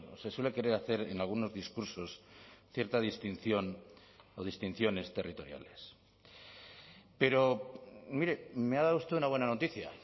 se suele querer hacer en algunos discursos cierta distinción o distinciones territoriales pero mire me ha dado usted una buena noticia